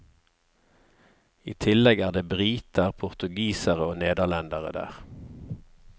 I tillegg er det briter, portugisere og nederlendere der.